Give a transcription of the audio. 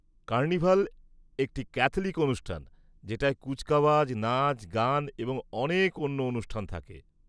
Carnival একটি Catholic অনুষ্ঠান যেটায় কুচকাওয়াজ, নাচ, গান এবং অনেক অন্য অনুষ্ঠান থাকে।